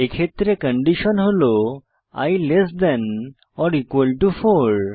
এক্ষেত্রে কন্ডিশন হল i less than or equal to 4